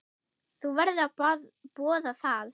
Þú verður að boða það.